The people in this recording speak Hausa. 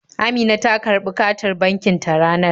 Amina ta karɓi katin bankin ta ranar